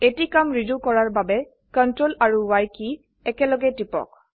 এটি কাম ৰেডো কৰাৰ বাবে CTRL আৰু Y কী একেলগে টিপক